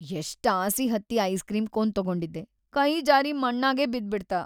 ಎಷ್ಟ್‌ ಆಸಿ ಹತ್ತಿ ಐಸ್‌ ಕ್ರೀಂ ಕೋನ್‌ ತೊಗೊಂಡಿದ್ದೆ, ಕೈ ಜಾರಿ ಮಣ್ಣಾಗೇ ಬಿದ್ಬಿಡ್ತ.